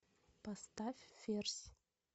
поставь ферзь